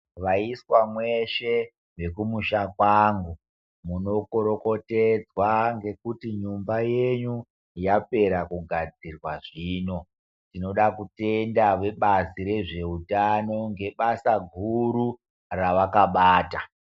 Vaiswa mweshe vekumusha kwangu munokorokotedzwa ngekuti nyumba yenyu yapera kugadzirwa zvino. Tinoda kutenda vebazi rezveutano ngebasa guru revakabata.